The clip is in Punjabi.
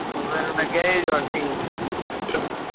ਮੈਨੂੰ ਲੱਗਿਆ ਇਹ ਜੋਹਨੀ